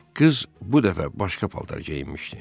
Qız bu dəfə başqa paltar geyinmişdi.